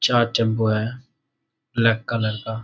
चार टेम्पो है black colour का।